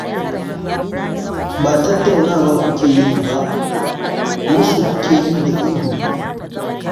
Ba tattaunawa kuke yi ba, musu kuke yi da ihu.